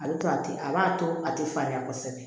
A bɛ to a tɛ a b'a to a tɛ falenya kosɛbɛ